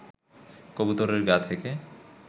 কবুতরের গা থেকে